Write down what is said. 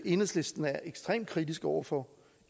enhedslisten er ekstremt kritisk over for